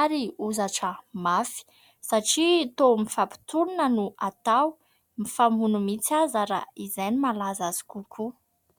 ary hozatra mafy. Satria toa mifampitolona no atao, mifamono mihitsy aza raha izay no mahalaza azy kokoa.